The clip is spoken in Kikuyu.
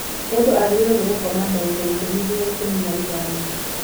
Mũndũ agĩrĩiro gũkoma ndagĩka ikũmi nginya ikũmi na ithano.